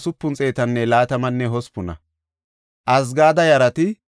Hizqiyaasa yara gidida Axeera yarati 98;